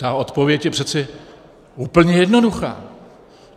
Ta odpověď je přeci úplně jednoduchá.